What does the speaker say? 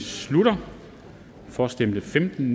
slutter for stemte femten